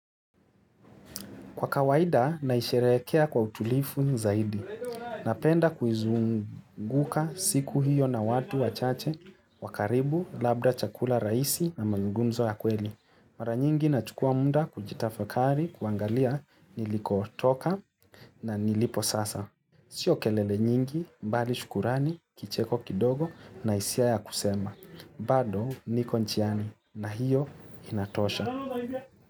Kwa kawaida naisherehekea kwa utulivu zaidi. Napenda kuzunguka siku hiyo na watu wachache wakaribu labda chakula rahisi na mazungumzo ya kweli. Mara nyingi nachukua muda kujitafakari kuangalia nilikotoka na nilipo sasa. Sio kelele nyingi, bali shukrani, kicheko kidogo na hisia ya kusema. Bado niko njiani na hiyo inatosha.